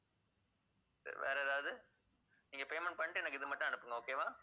சரி வேற ஏதாவது நீங்க payment பண்ணிட்டு எனக்கு இது மட்டும் அனுப்புங்க. okay வா